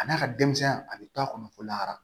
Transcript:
Ka d'a ka denmisɛn ya a be to a kɔnɔ ko lahara